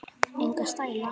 Enga stæla